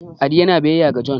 adi yana biyayya ga John